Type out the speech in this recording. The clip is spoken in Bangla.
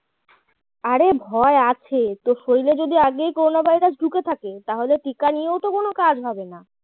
আরে ভয় আছে তোর শরীরে যদি আগে করোনা ভাইরাস ঢুকে থাকে তাহলে টিকা নিয়েও তো কোনও কাজ হবে না